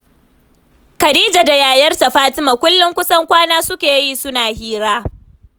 Khadija da yayarta Fatima, kullum kusan kwana suke yi suna hira